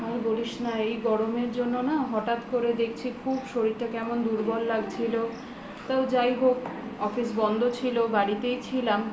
আর বলিস না এই গরমের জন্য না হঠাৎ করে দেখছি খুব শরীরটা কেমন দুর্বল লাগছিলো তা যাই হোক office বন্ধ ছিলো বাড়িতেই ছিলাম